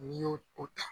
N'i y'o o ta